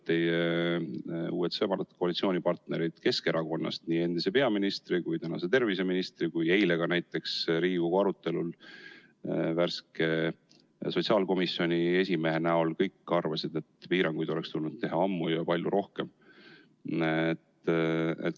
Teie uued sõbrad, koalitsioonipartnerid Keskerakonnast – nii endine peaminister kui ka tänane terviseminister, aga ka näiteks eile Riigikogu arutelul värske sotsiaalkomisjoni esimees – kõik arvasid, et piiranguid oleks tulnud teha ammu ja palju rohkem.